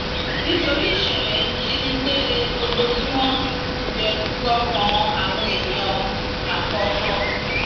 nítorí ìṣẹlẹ ìjínigbé ojoojúmọ ìbẹrù gbọkàn àwọn èèyàn àkọkọ